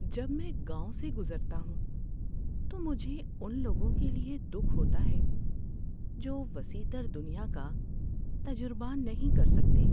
جب میں گاؤں سے گزرتا ہوں تو مجھے ان لوگوں کے لیے دکھ ہوتا ہے جو وسیع تر دنیا کا تجربہ نہیں کر سکتے۔